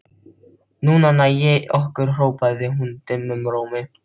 Núna næ ég ykkur hrópaði hann dimmum rómi.